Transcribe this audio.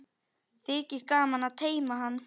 Þykir gaman að teyma hann.